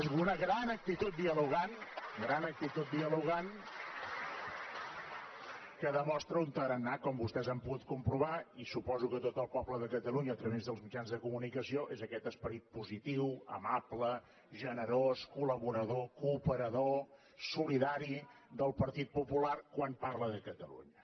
és una gran actitud dialogant gran actitud dialogant que demostra un tarannà com vostès han pogut comprovar i suposo que tot el poble de catalunya a través dels mitjans de comunicació és aquest esperit positiu amable generós col·laborador cooperador solidari del partit popular quan parla de catalunya